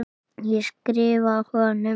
Ég skrifa honum!